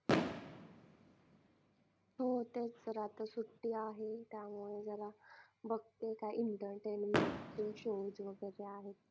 हो तेच तर आता सुट्टी आहे त्यामुळे जरा बघतोय काय entertainment चे shows वगैरे